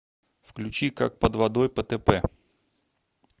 включи как под водой птп